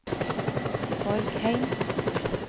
Borgheim